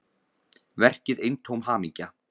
Verkið eintóm hamingja